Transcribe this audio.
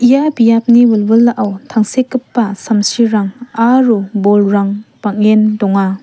ia biapni wilwilao tangsekgipa samsirang aro bolrang bang·en donga.